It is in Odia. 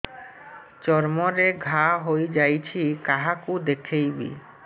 ଚର୍ମ ରେ ଘା ହୋଇଯାଇଛି କାହାକୁ ଦେଖେଇବି